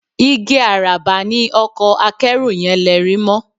Igi àràbà ni ọkọ akẹ́rù yẹn lerí mọ́